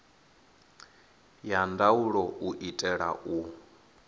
ya ndaulo u itela u